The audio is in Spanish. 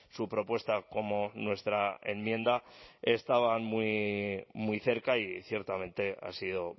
su propuesta como nuestra enmienda estaban muy cerca y ciertamente ha sido